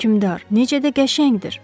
Hökümdar, necə də qəşəngdir!